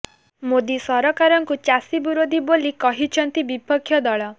ମୋଦି ସରକାରଙ୍କୁ ଚାଷୀ ବିରୋଧୀ ବୋଲି କହିଛନ୍ତି ବିପକ୍ଷ ଦଳ